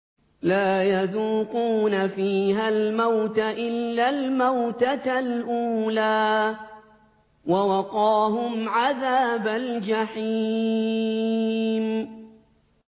لَا يَذُوقُونَ فِيهَا الْمَوْتَ إِلَّا الْمَوْتَةَ الْأُولَىٰ ۖ وَوَقَاهُمْ عَذَابَ الْجَحِيمِ